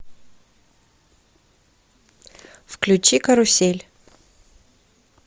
включи карусель